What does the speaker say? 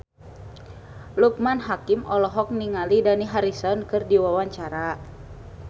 Loekman Hakim olohok ningali Dani Harrison keur diwawancara